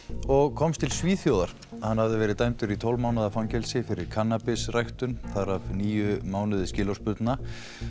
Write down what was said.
og komst til Svíþjóðar hann hafði verið dæmdur í tólf mánaða fangelsi fyrir þar af níu mánuði skilorðsbundna